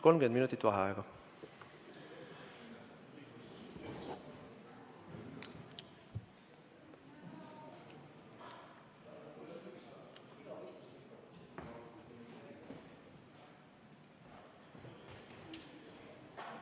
30 minutit vaheaega.